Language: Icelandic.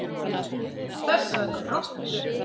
Þessari rottu.